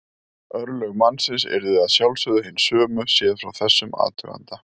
Örlög mannsins yrðu að sjálfsögðu hin sömu séð frá þessum athuganda.